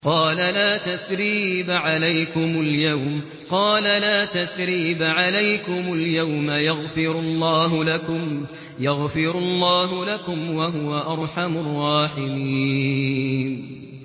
قَالَ لَا تَثْرِيبَ عَلَيْكُمُ الْيَوْمَ ۖ يَغْفِرُ اللَّهُ لَكُمْ ۖ وَهُوَ أَرْحَمُ الرَّاحِمِينَ